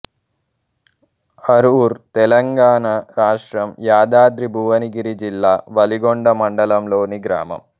అర్రూర్ తెలంగాణ రాష్ట్రం యాదాద్రి భువనగిరి జిల్లా వలిగొండ మండలంలోని గ్రామం